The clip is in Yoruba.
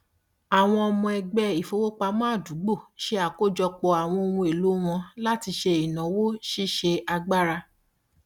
àwọn ọmọ ẹgbẹ ìfowópamọ àdúgbò ṣe àkójọpọ àwọn ohun èlò wọn láti ṣe ìnáwó ṣíṣe agbára